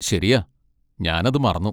ശരിയാ, ഞാൻ അത് മറന്നു.